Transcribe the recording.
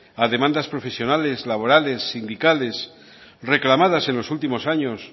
a demandas profesionales laborales sindicales reclamadas en los últimos años